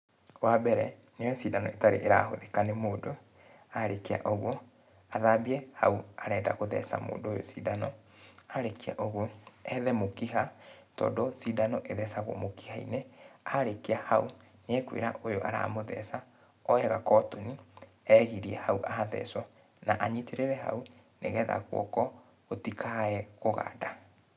Wambere, nĩ oye cindano ĩtarĩ ĩrahũthĩka nĩ mũndũ, arĩkia ũguo, athambie hau arenda gũtheca mũndũ ũyũ cindano, arĩkia ũguo, ethe mũkiha, tondũ cindano ĩthecagũo mũkiha-inĩ, arĩkia hau nĩekwĩra ũyũ aramũtheca, oye gakotoni egirĩe hau athecũo, na anyitĩrĩre hau nĩgetha guoko gũtikae kũganda.